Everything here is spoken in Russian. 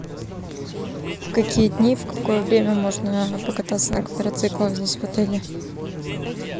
в какие дни в какое время можно покататься на квадроциклах здесь в отеле